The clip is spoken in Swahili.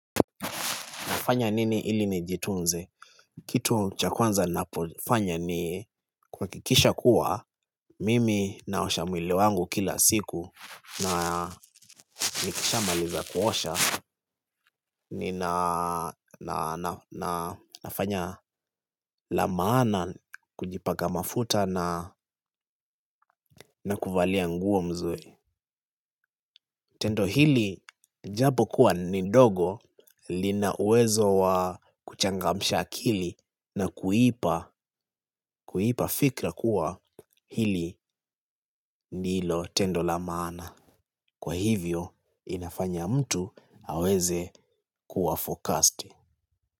Nafanya nini ili nijitunze? Kitu cha kwanza nafanya ni kuhakikisha kuwa mimi naosha mwili wangu kila siku na nikishamaliza kuosha nafanya la maana kujipaka mafuta na kuvalia nguo mzuri. Tendo hili japo kuwa ni ndogo lina uwezo wa kuchangamsha akili na kuipa fikra kuwa hili ndilo tendo la maana. Kwa hivyo inafanya mtu aweze kuwa focused.